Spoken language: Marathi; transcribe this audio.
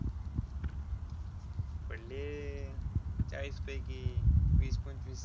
पडले चाळीस पैकी वीस पंचवीस.